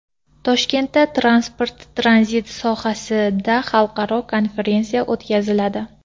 Toshkentda transport-tranzit sohasida xalqaro konferensiya o‘tkaziladi.